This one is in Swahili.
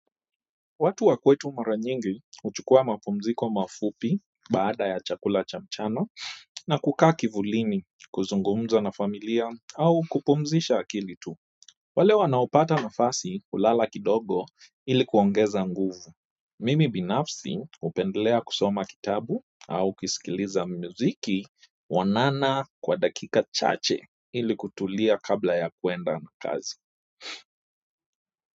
Watu wa kwetu mara nyingi huchukua mapumziko mafupi baada ya chakula cha mchana na kukaa kivulini kuzungumza na familia au kupumzisha akili tuu. Wale wanaopata nafasi hulala kidogo ili kuongeza nguvu. Mimi binafsi hupendelea kusoma kitabu au kusikiliza mziki mwanana kwa dakika chache ili kutulia kabla ya kwenda kazi.